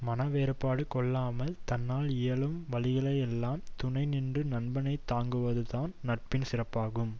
மனவேறுபாடு கொள்ளாமல் தன்னால் இயலும் வழிகளிலெல்லாம் துணைநின்று நண்பனை தாங்குவது தான் நட்பின் சிறப்பாகும்